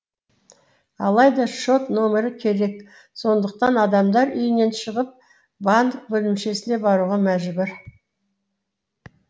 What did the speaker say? алайда шот нөмірі керек сондықтан адамдар үйінен шығып банк бөлімшесіне баруға мәжбүр